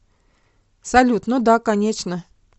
салют ну да конечно